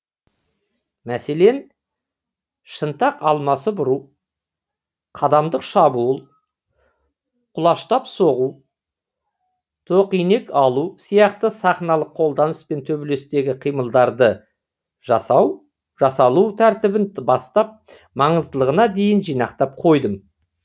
мәселен шынтақ алмасып ұру қадамдық шабуыл құлаштапсоғу тоқинек алу сияқты сахналық қолданыс пен төбелестегі қимылдарды жасалу тәртібін бастап маңыздылығына дейін жинақтап қойдым